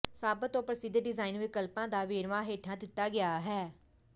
ਸਭ ਤੋਂ ਪ੍ਰਸਿੱਧ ਡੀਜ਼ਾਈਨ ਵਿਕਲਪਾਂ ਦਾ ਵੇਰਵਾ ਹੇਠਾਂ ਦਿੱਤਾ ਗਿਆ ਹੈ